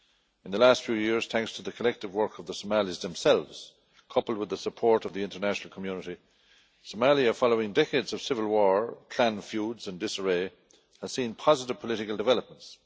In the last few years, thanks to the collective work of the Somalis themselves, coupled with the support of the international community, Somalia following decades of civil war, clan feuds and disarray has seen positive political developments.